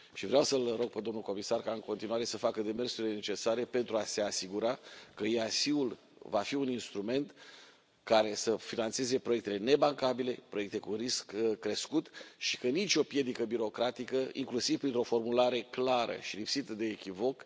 Vreau să îl rog pe domnul comisar ca, în continuare, să facă demersurile necesare pentru a se asigura că EIC ul va fi un instrument care să finanțeze proiectele nebancabile, proiectele cu risc crescut și că nu va exista nicio piedică birocratică, inclusiv printr o formulare clară și lipsită de echivoc